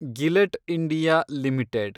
ಗಿಲೆಟ್ India limited